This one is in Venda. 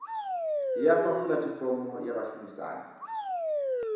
ya fha pulatifomo ya vhashumisani